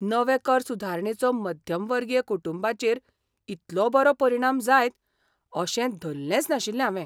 नवे कर सुदारणेचो मध्यमवर्गीय कुटुंबांचेर इतलो बरो परिणाम जायत अशें धल्लेंच नाशिल्लें हांवें.